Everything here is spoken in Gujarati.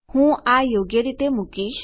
હું આ યોગ્ય રીતે મુકીશ